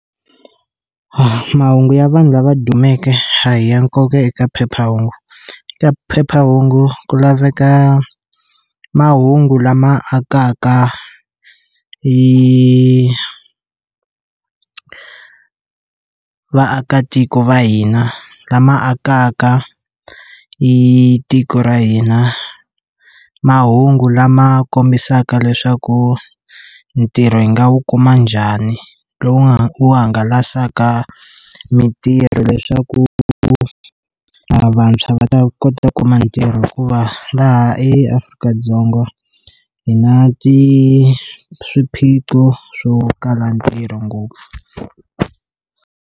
mahungu ya vanhu lava dumeke a hi ya nkoka eka phephahungu ka phephahungu ku laveka mahungu lama akaka yi vaakatiko va hina lama akaka i tiko ra hina mahungu lama kombisaka leswaku ntirho hi nga wu kuma njhani lowu hangalasaka mitirho leswaku vantshwa va ta kota ku kuma ntirho hikuva laha eAfrika-Dzonga hi na ti swiphiqo swo kala ntirho ngopfu.